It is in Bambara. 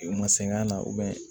U ma sɛgɛn na